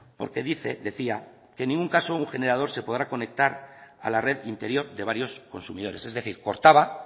porque dice decía que en ningún caso un generador se podrá conectar a la red interior de varios consumidores es decir cortaba